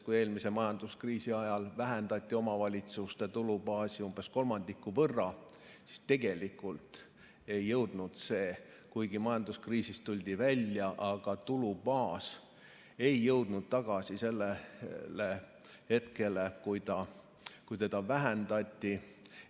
Kui eelmise majanduskriisi ajal vähendati omavalitsuste tulubaasi umbes kolmandiku võrra, siis kuigi majanduskriisist tuldi välja, aga tulubaas ei jõudnud tagasi sellele tasemele, mis oli siis, kui seda vähendati.